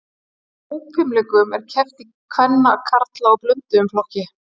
Í hópfimleikum er keppt í kvenna, karla og blönduðum flokki.